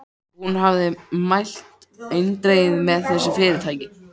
Hún hafði mælt eindregið með þessu fyrirtæki.